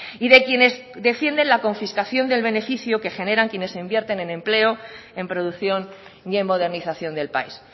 y de quienes defienden la confiscación del beneficio que generan quienes invierten en empleo en producción y en modernización del país